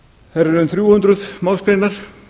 þær eru um þrjú hundruð málsgreinar